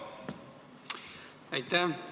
Aitäh!